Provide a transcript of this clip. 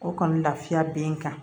O kɔni lafiya be n kan